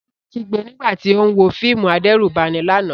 Ṣadé kígbe nígbà tí ó ń wo fíìmù adẹ́rùbani lánàá.